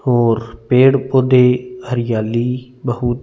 और पेड़ पौधे हरयाली बहुत--